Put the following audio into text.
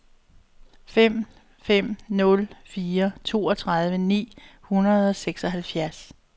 fem fem nul fire toogtredive ni hundrede og seksoghalvfems